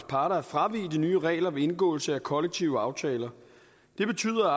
parter at fravige de nye regler ved indgåelse af kollektive aftaler det betyder at